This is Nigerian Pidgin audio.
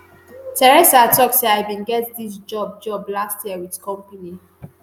theresa tok say "i bin get dis job job last year wit company